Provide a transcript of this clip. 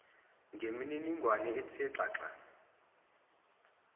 ngemininingwane ethe xaxa